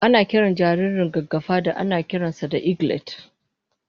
Ana kiran jaririn gaggafa da anakiran sa da eglet